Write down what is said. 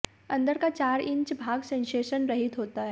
अंदर का चार इंच भाग सेंसेशन रहित होता है